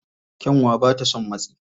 Kyanwa ba ta son matsi.